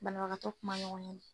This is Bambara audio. Banabagatɔ kuma ɲɔgɔn ye